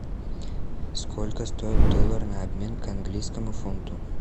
сколько стоит доллар на обмен к английскому фунту